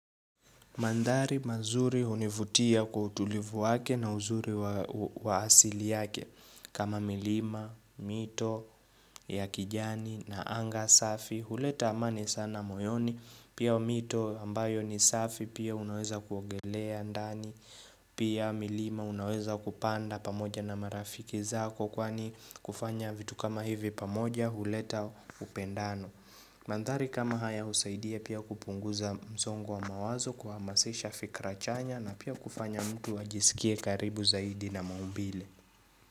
Mandhari mazuri hunivutia kwa utulivu wake na uzuri wa asili yake kama milima, mito, ya kijani na anga safi, huleta amani sana moyoni, pia mito ambayo ni safi pia unaweza kuogelea ndani, pia milima unaweza kupanda pamoja na marafiki zako kwani kufanya vitu kama hivi pamoja huleta upendano. Mandhari kama haya husaidia pia kupunguza msongo wa mawazo kuhamasisha fikra chanya na pia kufanya mtu ajisikie karibu zaidi na maumbile.